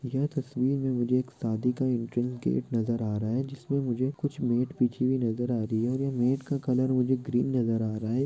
यह तस्वीर मे मुझे एक शादी का एंट्रेन गेट नजर आ रहा है जिसमे मुझे कुछ मेट बिछी हुई नजर आ रही है ओर ये मेट का कलर मुझे ग्रीन नजर आ रहा है।